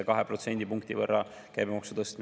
Riina Solman, palun!